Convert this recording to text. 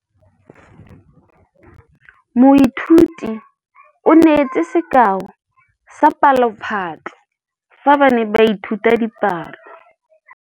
Moithuti o neetse sekaô sa palophatlo fa ba ne ba ithuta dipalo.